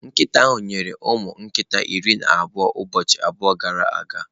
Nkịta ahụ nyere ụmụ nkita iri na abụọ ụbọchị abụọ gara aga